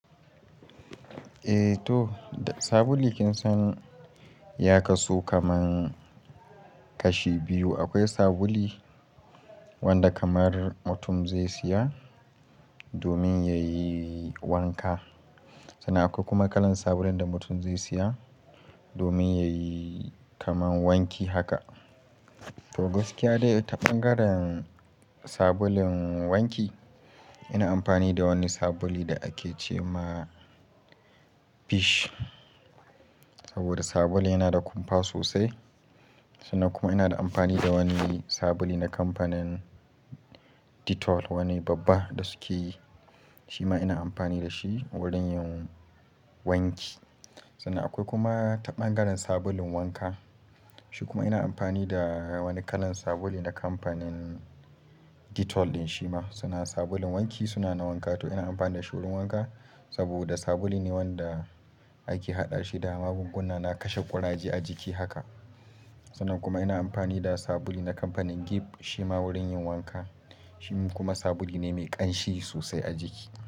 Eh toh, da sabuli kin san ya kasu kaman kashi biyu. Akwai sabuli wanda kamar mutum zai siya domin yayi wanka. Sannan akwai kuma kalan sabulun da mutum zai siya domin yayi kaman wanki haka. Toh gaskiya dai taɓangarin sabulun wanki, ina amfani da wani sabuli da ake ce ma fish. Saboda sabuli yana da kumfa sosai. Sannan kuma ina da ampani da wani sabuli na kamfanin Dettol, wani babba da sukeyi, shi ma ina ampani da shi wurin yin wanki. Sannan akwai kuma ta ɓangaren sabulun wanka Shi kuma ina amfani da wani kalan sabuli na kamfanin Dettol din shi ma. Suna sabulun wanki, suna na wanka. To ina amfani da shi wurin wanka. Saboda sabuli ne wanda ake haɗa shi da magunguna na kashe ƙuraje a jijki haka Sannan kuma ina amfani da subuli na kamfanin Giv, shima wurin yin wanka. Shi kuma sabuli ne mai ƙanshi sosai a jiki.